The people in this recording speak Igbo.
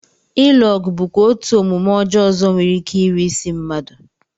Ilu ọgụ bụkwa otú omume ọjọọ ọzọ nwereike iri isi mmadụ